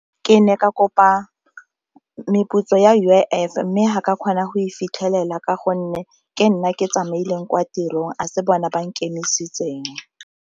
Ke ne ka kopa meputso ya U_I_F mme ga ka kgona go e fitlhelela ka gonne ke nna ke tsamaileng kwa tirong a se bone ba nkemisitseng.